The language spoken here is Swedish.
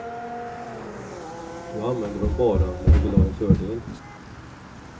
Du använder dom bara när du vill ha en fördel.